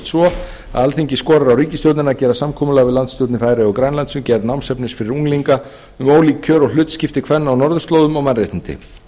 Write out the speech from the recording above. svo alþingi skorar á ríkisstjórnina að gera samkomulag við landsstjórnir færeyja og grænlands um gerð námsefnis fyrir unglinga um ólík kjör og hlutskipti kvenna á norðurslóðum og mannréttindi bjarni